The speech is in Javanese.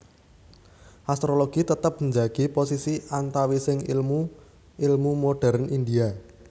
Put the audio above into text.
Astrologi tetep njagi posisi antawising ilmu ilmu modérn India